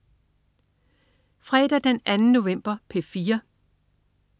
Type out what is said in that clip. Fredag den 2. november - P4: